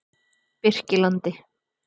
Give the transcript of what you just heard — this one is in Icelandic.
Birkilandi